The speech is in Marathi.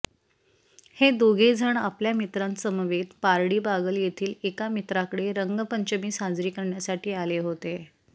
हे दोघेजण आपल्या मित्रांसमवेत पार्डी बागल येथील एका मित्राकडे रंगपंचमी साजरी करण्यासाठी आले होते